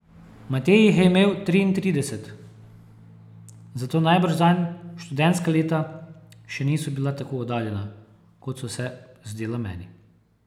Matej jih je imel triintrideset, zato najbrž zanj študentska leta še niso bila tako oddaljena, kot so se zdela meni.